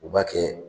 U b'a kɛ